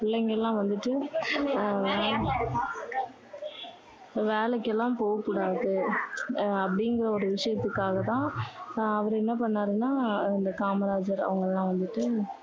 பிள்ளைங்க எல்லாம் வந்துட்டு அஹ் வேலைக்கெல்லாம் போகக்கூடாது. அஹ் அப்படிங்கற ஒரு விஷயத்துக்காக தான் அவர் என்ன பண்ணாருன்னா அந்த காமராசர் அவங்க எல்லாம் வந்துட்டு